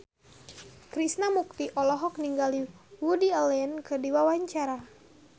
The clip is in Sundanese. Krishna Mukti olohok ningali Woody Allen keur diwawancara